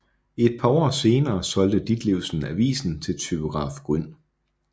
Et par år senere solgte Ditlevsen avisen til typograf Grün